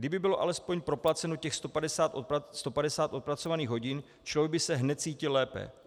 Kdyby bylo alespoň proplaceno těch 150 odpracovaných hodin, člověk by se hned cítil lépe.